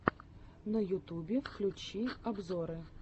на ютубе включи обзоры